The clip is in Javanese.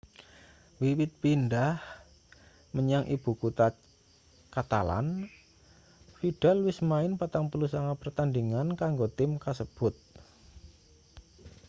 wiwit pindhah menyang ibu kutha catalan vidal wis main 49 pertandhingan kanggo tim kasebut